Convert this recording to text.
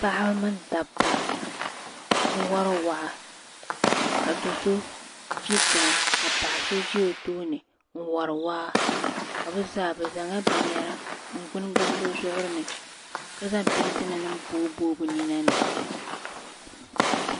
Paɣaba mini dabba n wari waa ka doo so ʒi tiŋa ka paɣa so ʒɛ o tooni n wari waa ka be zaa zaŋ bin yara gbuni gbuni be zuɣiri ni ka zaŋ pɛɛnta nim booyi booyi be nina ni.